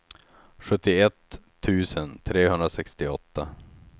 sjuttioett tusen trehundrasextioåtta